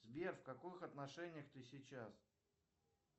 сбер в каких отношениях ты сейчас